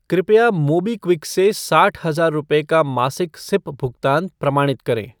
कृपया मोबीक्विक से साठ हजार रुपये का मासिक सिप भुगतान प्रमाणित करें ।